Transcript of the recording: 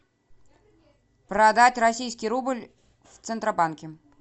продать российский рубль в центробанке